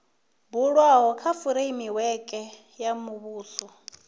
bulwaho kha fureimiweke ya muvhuso